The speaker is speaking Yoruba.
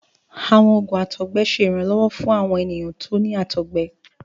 Àwọn òògùn àtọgbẹ ṣe ìrànlọ́wọ́ fún àwọn ènìyàn tí o ni àtọgbẹ.